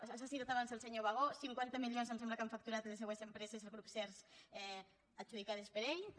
s’ha citat abans el senyor bagó cinquanta milions em sembla que han facturat les seues empreses el grup sehrs adjudicades per ell també